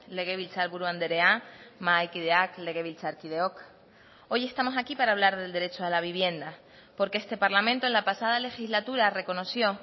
legebiltzarburu andrea mahaikideak legebiltzarkideok hoy estamos aquí para hablar del derecho a la vivienda porque este parlamento en la pasada legislatura reconoció